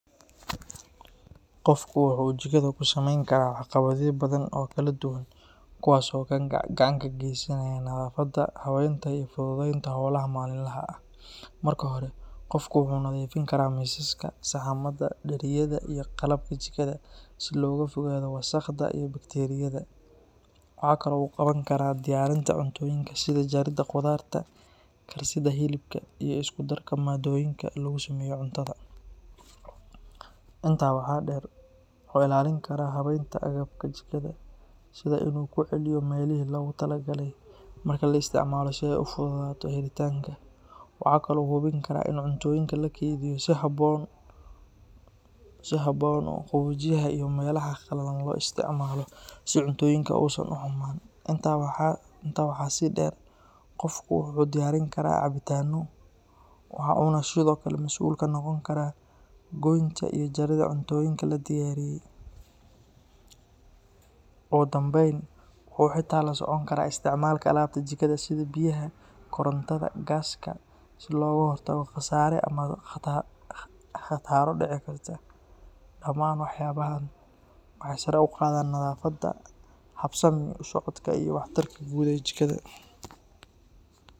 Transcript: Qofku waxa uu jikada ka samayn karaa waxqabadyo badan oo kala duwan kuwaas oo gacan ka geysanaya nadaafadda, habeynta iyo fududeynta howlaha maalinlaha ah. Marka hore, qofku wuxuu nadiifin karaa miisaska, saxamada, dheriyada iyo qalabka jikada si looga fogaado wasakhda iyo bakteeriyada. Waxa kale oo uu qaban karaa diyaarinta cuntooyinka sida jaridda khudaarta, karsidda hilibka, iyo isku darka maaddooyinka lagu sameeyo cuntada. Intaa waxaa dheer, wuxuu ilaalin karaa habeynta agabka jikada sida inuu ku celiyo meelihii loogu talagalay marka la isticmaalo si ay u fududaato helitaanka. Waxa kale oo uu hubin karaa in cuntooyinka la keydiyo si habboon oo qaboojiyaha iyo meelaha qallalan loo isticmaalo si cuntooyinka uusan u xumaan. Intaa waxaa sii dheer, qofku wuxuu diyaarin karaa cabitaanno, waxa uuna sidoo kale mas’uul ka noqon karaa goynta iyo jaridda cuntooyinka la diyaariyey. Ugu dambeyn, wuxuu xitaa la socon karaa isticmaalka alaabta jikada sida biyaha, korontada, gaaska si looga hortago khasaare ama khataro dhici kara. Dhamaan waxqabadyadan waxay sare u qaadaan nadaafadda, habsami u socodka iyo waxtarka guud ee jikada.